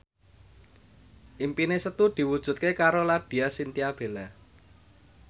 impine Setu diwujudke karo Laudya Chintya Bella